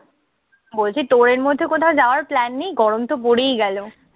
বলছি তোর এর মধ্যে কোথাও যাওয়ার plan নেই? গরমতো পড়েই গেল।